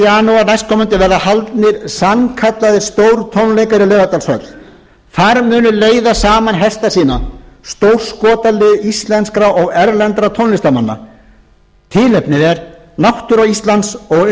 janúar næstkomandi verða haldnir sannkallaðir stórtónleikar í laugardalshöll þar munu leiða saman hesta sína stórskotalið íslenskra og erlendra tónlistarmanna tilefnið er náttúra íslands og umgengni